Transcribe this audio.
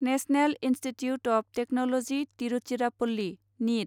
national institute of technology Tiruchirappalli नित